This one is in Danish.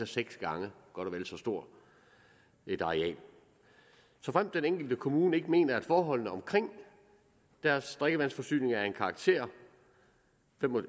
seks gange så stort et areal såfremt den enkelte kommune mener at forholdene omkring deres drikkevandsforsyning er af en sådan karakter